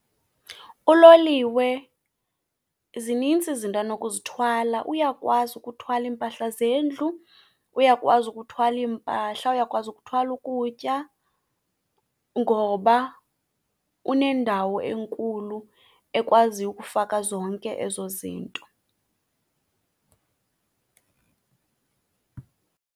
Uloliwe zinintsi izinto anokuzithwala, uyakwazi ukuthwala iimpahla zendlu, uyakwazi ukuthwala iimpahla, uyakwazi ukuthwala ukutya ngoba unendawo enkulu ekwaziyo ukufaka zonke ezo zinto.